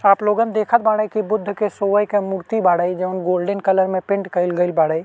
आप लोगन देखत बाड़े की बुद्ध के सोये के मूर्ति बाड़े। जोवन गोल्डन कलर में पेंट कई गइल बाड़े।